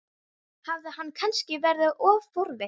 Hafði hann kannski verið of forvitin?